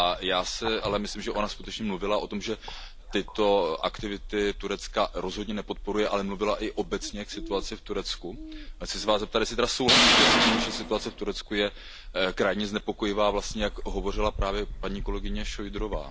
Já si ale myslím, že ona skutečně mluvila o tom, že tyto aktivity Turecka rozhodně nepodporuje, ale mluvila i obecně o situaci v Turecku. Chci se vás zeptat, jestli tedy souhlasíte s tím, že situace v Turecku je krajně znepokojivá, vlastně jak o ní hovořila právě paní kolegyně Šojdrová?